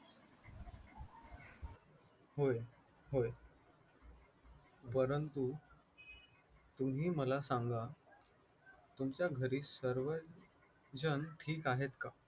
होय होय, परंतु तुम्ही मला सांगा तुमच्या घरी सर्वजण ठीक आहेत का